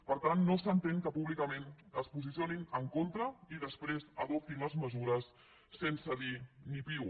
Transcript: per tant no s’entén que públicament es posicionin en contra i després adoptin les mesures sense dir ni piu